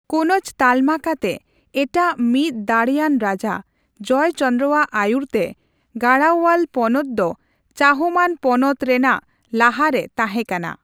ᱠᱳᱱᱚᱡ ᱛᱟᱞᱢᱟ ᱠᱟᱛᱮ ᱮᱴᱟᱜ ᱢᱤᱫ ᱫᱟᱲᱮᱭᱟᱱ ᱨᱟᱡᱟ ᱡᱚᱭᱪᱚᱱᱫᱨᱚᱣᱟᱜ ᱟᱭᱩᱨᱛᱮ ᱜᱟᱦᱟᱲᱣᱭᱟᱞ ᱯᱚᱱᱚᱛ ᱫᱚ ᱪᱟᱦᱚᱢᱟᱱ ᱯᱚᱱᱚᱛ ᱨᱮᱱᱟᱜ ᱞᱟᱦᱟᱨᱮ ᱛᱟᱦᱮ ᱠᱟᱱᱟ ᱾